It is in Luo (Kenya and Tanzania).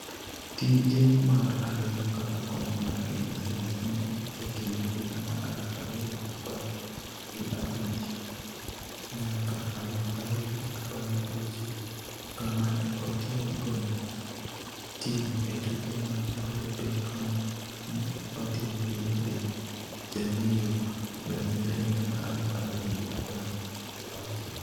Tije mar ariyo kaka koch mar Kenya Sevens ne en e kind higa mar aluf ariyo gi apar gi abich nyaka aluf ariyo gi apar gi auchiel, kama ne otiegoe tim e tuke mag Olimpik ma ne otim Rio de Janeiro, Brazil e higa mar aluf ariyo gi apar gi auchiel.